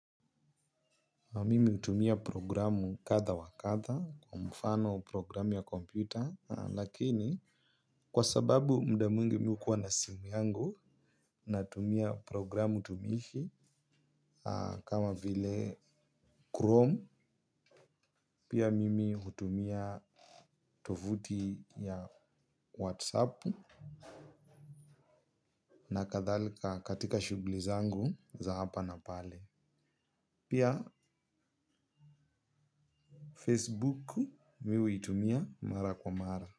Mimi utumia programu katha wa katha kwa mfano programu ya kompyuta lakini kwa sababu mda muingi mi u kuwa na simu yangu. Natumia programu tumishi. Kama vile Chrome pia mimi utumia. Tovuti ya Whatsapp Na kathalika katika shuguli zangu za hapa na pale. Pia Facebook mi huitumia mara kwa mara.